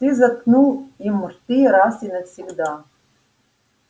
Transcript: ты заткнул им рты раз и навсегда